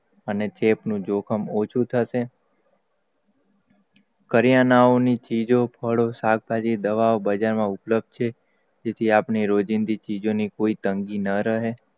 જોખમ ઓછુ થશે કર્યાનાંઓ નિ ચીજો ફળો શાકભાજી દવાઓબજાર માં ઉપપ્લ છે. જે થી આપને રોજીની ચીજો ની કમી ન રહે અને ચેપનું જોખમ ઓછુ થશે,